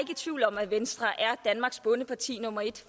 i tvivl om at venstre er danmarks bondeparti nummer et